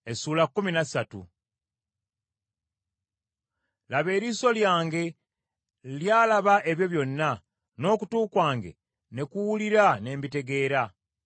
“Laba, eriiso lyange lyalaba ebyo byonna, n’okutu kwange ne kuwulira ne mbitegeera.